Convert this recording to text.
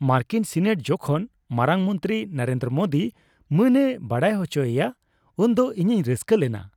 ᱢᱟᱨᱠᱤᱱ ᱥᱤᱱᱮᱴ ᱡᱚᱠᱷᱚᱱ ᱢᱟᱨᱟᱝ ᱢᱚᱱᱛᱨᱤ ᱱᱚᱨᱮᱱᱫᱨᱚ ᱢᱳᱫᱤ ᱢᱟᱹᱱᱮ ᱵᱟᱲᱟᱭ ᱦᱚᱪᱚᱭᱮᱭᱟ ᱩᱱᱫᱚ ᱤᱧᱤᱧ ᱨᱟᱹᱥᱠᱟᱹ ᱞᱮᱱᱟ ᱾